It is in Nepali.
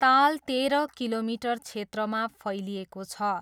ताल तेह्र किलोमिटर क्षेत्रमा फैलिएको छ।